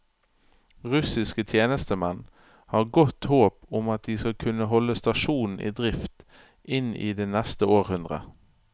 Russiske tjenestemenn har godt håp om at de skal kunne holde stasjonen i drift inn i det neste århundre.